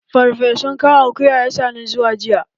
Ferfesu kan akuya ya sa ni zawo jiya